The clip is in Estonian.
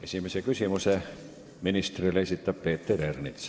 Esimese küsimuse ministrile esitab Peeter Ernits.